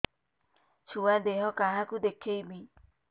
ଛୁଆ ଦେହ କାହାକୁ ଦେଖେଇବି